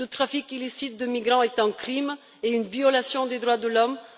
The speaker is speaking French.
Le trafic illicite de migrants constitue un crime et une violation des droits de l'homme.